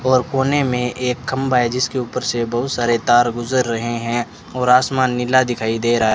और कोने में एक खंबा है जिसके ऊपर से बहुत सारे तार गुजर रहे हैं और आसमान नीला दिखाई दे रहा है।